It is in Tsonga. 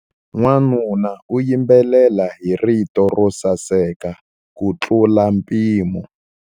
Wanuna u yimbelela hi rito ro saseka kutlula mpimo.